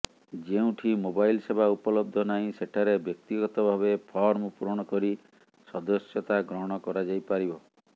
ଯେଉଁଠି ମୋବାଇଲ୍ ସେବା ଉପଲବ୍ଧ ନାହିଁ ସେଠାରେ ବ୍ୟକ୍ତିଗତ ଭାବେ ଫର୍ମ ପୂରଣ କରି ସଦସ୍ୟତା ଗ୍ରହଣ କରାଯାଇପାରିବ